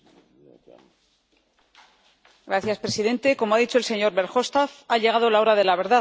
Señor presidente. Como ha dicho el señor Verhofstadt, ha llegado la hora de la verdad.